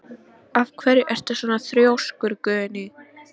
Af hverju ertu svona þrjóskur, Guðný?